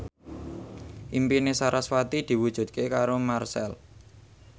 impine sarasvati diwujudke karo Marchell